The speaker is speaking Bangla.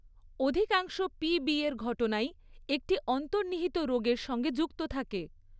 অধিকাংশ পিবির ঘটনাই একটি অন্তর্নিহিত রোগের সঙ্গে যুক্ত থাকে।